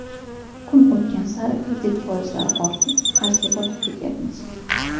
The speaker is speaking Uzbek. Kun o‘tgan sari kredit foizlari ortib, qarzga botib ketyapmiz.